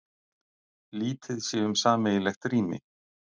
Lítið sé um sameiginlegt rými